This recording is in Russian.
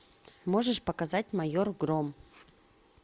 можешь показать майор гром